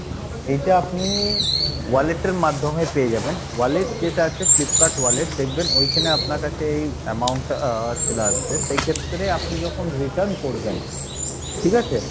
এইটা আপনি wallet এর মাধ্যমে পেয়ে যাবেন, wallet যেটা আছে Flipkart wallet দেখবেন ওইখানে আপনার কাছে এই amount টা আহ চলে আসবে সেই ক্ষেত্রে আপনি যখন return করবেন, ঠিক আছে?